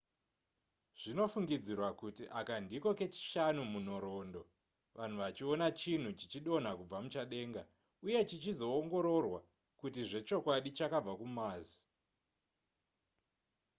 zvinofungidzirwa kuti aka ndiko kechishanu munhoroondo vanhu vachiona chinhu chichidonha kubva muchadenga uye chichizoongororwa kuti zvechokwadi chakabva kumars